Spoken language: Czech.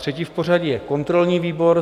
Třetí v pořadí je kontrolní výbor.